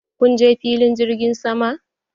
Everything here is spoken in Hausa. Kunje filin jirgin sama?